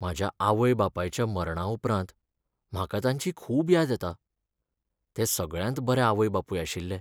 म्हज्या आवय बापायच्या मरणा उपरांत म्हाका तांची खूब याद येता. ते सगळ्यांत बरे आवय बापूय आशिल्ले